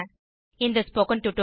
இந்த spoken tutorial